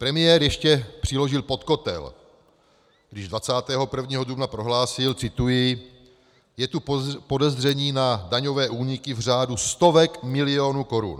Premiér ještě přiložil pod kotel, když 21. dubna prohlásil - cituji: "Je tu podezření na daňové úniky v řádu stovek milionů korun."